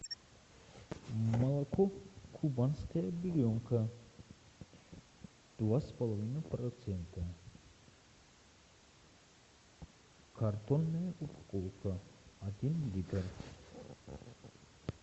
молоко кубанская буренка два с половиной процента картонная упаковка один литр